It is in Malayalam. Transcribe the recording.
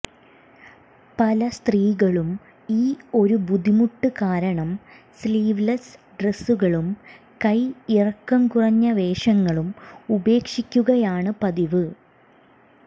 പല സ്ത്രീകളും ഈ ഒരു ബുദ്ധിമുട്ട് കാരണം സ്ലീവ്ലെസ്സ് ഡ്രെസ്സുകളും കൈ ഇറക്കം കുറഞ്ഞ വേഷങ്ങളും ഉപേക്ഷിക്കുകയാണ് പതിവ്